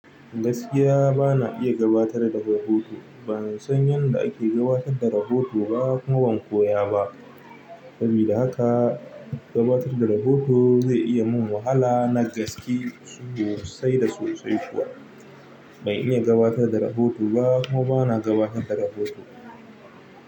Gaskiya bana iya gabatar da rubutu. Bansan yanda ake gabatar da rohoto ba kuma ban koya ba sabida haka gabatar da rahoto zai iya mun wahala na gaske sosai da sosai kuwa. Ban iya gabatar da rahoto ba kuma bana gabatar da rahoto.